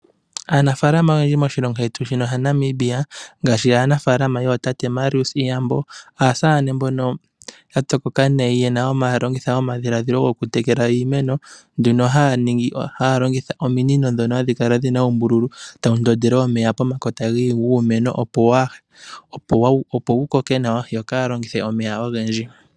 Aanafaalama oyendji moshilongo shetu shino sha Namibia, ngaashi aanafaalama yootate Marius Iyambo, aasamane mbono ya pyokoka nayi ye na, haya longitha omadhiladhilo gokutekela iimeno nduno haya ningi nenge longitha ominino ndhono hadhi kala dhi na uumbululu, tawu ndondele omeya pomakota guumeno opo wu koke nawa, yo kaa ya longithe omeya ogendji.